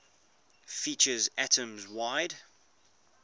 features atoms wide